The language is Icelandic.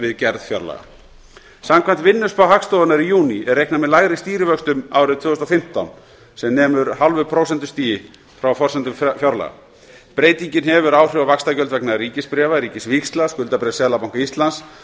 við gerð fjárlaga samkvæmt vinnuspá hagstofunnar í júní er reiknað með lægri stýrivöxtum árið tvö þúsund og fimmtán sem nemur hálfu prósentustigi frá forsendum fjárlaga breytingin hefur áhrif á vaxtagjöld vegna ríkisbréfa ríkisvíxla skuldabréfs seðlabanka íslands